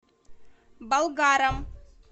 болгаром